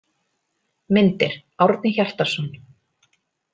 Myndir: Árni Hjartarson.